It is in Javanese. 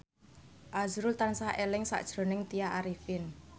azrul tansah eling sakjroning Tya Arifin